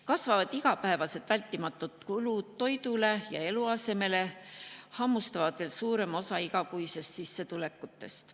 Kasvavad igapäevased vältimatud kulud toidule ja eluasemele hammustavad veel suurema osa igakuistest sissetulekutest.